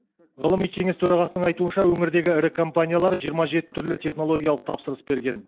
ғылыми кеңес төрағасының айтуынша өңірдегі ірі компаниялар жиырма жеті түрлі технологиялық тапсырыс берген